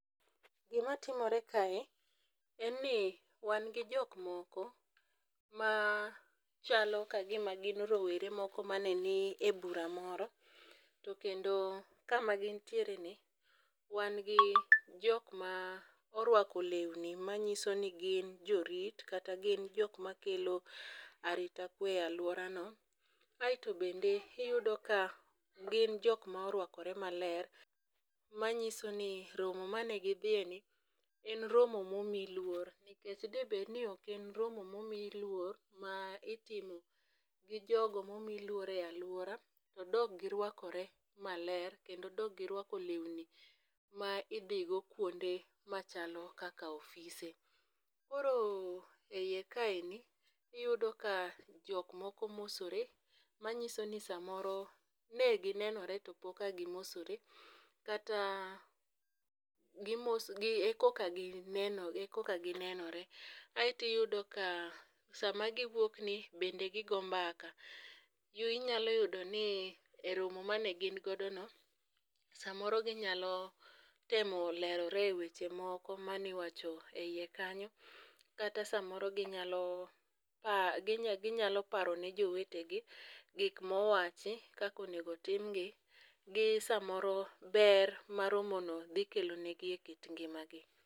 Gima timore kae en ni wan gi jok moko ma chalo ka gima gin rowere moko mane ni e bura moro to kendo kama gintiereni wan gi jok moko moruako lewni manyiso ni gin jorit kata jok makelo arita kwe e aluorano. Kaeto bende iyudo ka gin jok ma oruakore maler manyiso ni romo mane gidhiyeni en romo ma omi luor nikech dine bed ni ok en romo momi luor ma itimo gi jogo ma omi luor e aluora, de ok giruakore maler kendo de ok giruako lewni ma idhigo kuonde machalo kaka ofise. Koro e iyekae iyudo ka jok moko mosore manyiso ni samoro ne ginenore to pok a gimosore to kata ko ka ginenore. Ae to iyudo ka sama giwuokni bende gigo mbaka. Inyalo yudo ni e romo mane gin godo no, samoro ginyalo temo lerore eweche moko mane iwacho eiye kanyo, kata samoro ginyalo a ginyalo paro ne jowetegi gik mowachi kaka onego timgi gisamoro ber ma gino dhi kelonigi ekit ngimagi.